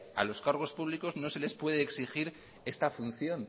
a los cargos públicos no se les puede exigir esta función